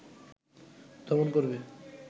দমন করবে